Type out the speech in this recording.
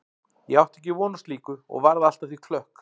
Ég átti ekki von á slíku og varð allt að því klökk.